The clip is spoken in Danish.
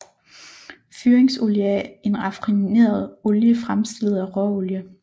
Fyringsolie er en raffineret olie fremstillet af råolie